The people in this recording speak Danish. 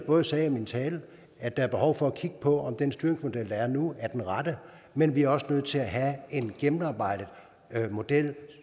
også i min tale at der er behov for at kigge på om den styringsmodel der er nu er den rette men vi er også nødt til at have en gennemarbejdet model